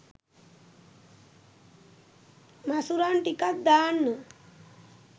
මසුරන් ටිකක් දාන්න